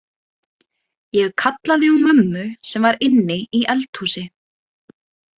Ég kallaði á mömmu sem var inni í eldhúsi.